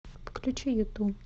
включи юту